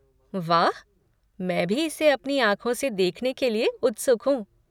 वाह, मैं भी इसे अपनी आँखों से देखने के लिए उत्सुक हूँ।